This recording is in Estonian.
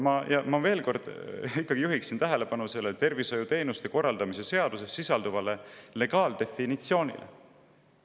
Ma juhiksin veel kord tähelepanu tervishoiuteenuste korraldamise seaduses sisalduvale legaaldefinitsioonile.